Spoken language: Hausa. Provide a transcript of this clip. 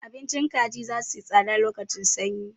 Abincin kaji za suyi tsada lokacin sanyi.